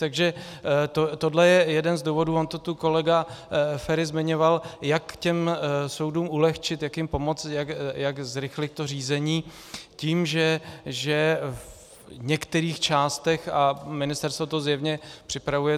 Takže tohle je jeden z důvodů, on to tu kolega Feri zmiňoval, jak těm soudům ulehčit, jak jim pomoci, jak zrychlit to řízení - tím, že v některých částech, a ministerstvo to zjevně připravuje.